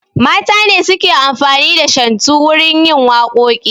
Mata ne suke amfani da shantu wurin yin waƙoƙi